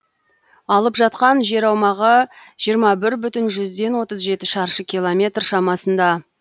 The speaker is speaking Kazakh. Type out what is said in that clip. алып жатқан жер аумағы жиырма бір бүтін жүзден отыз жеті шаршы километр шамасында